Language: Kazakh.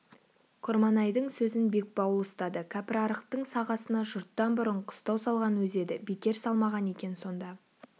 құрманайдың сөзін бекбауыл ұстады кәпірарықтың сағасына жұрттан бұрын қыстау салған өзі еді бекер салмаған екен сонда